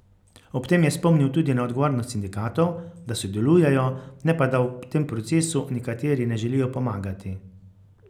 Ob tem je spomnil tudi na odgovornost sindikatov, da sodelujejo, ne pa da v tem procesu nekateri ne želijo pomagati.